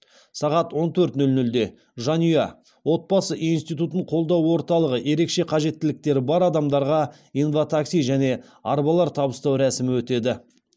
сағат он төрт нөл нөлде жанұя отбасы институтын қолдау орталығы ерекше қажеттіліктері бар адамдарға инватакси және арбалар табыстау рәсімі өтеді